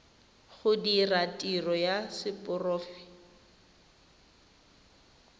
go dira tiro ya seporofe